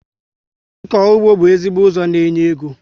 Ịkọ ụgbọ bú ezigbo ụzọ n'enye égo